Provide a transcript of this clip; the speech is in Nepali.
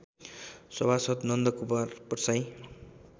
सभासद् नन्दकुमार प्रसाईँ